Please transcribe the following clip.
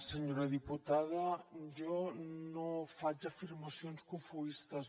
senyora diputada jo no faig afirmacions cofoistes